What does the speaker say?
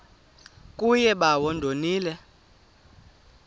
kuye bawo ndonile